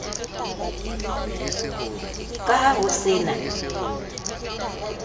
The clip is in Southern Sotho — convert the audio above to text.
ka ha ho se na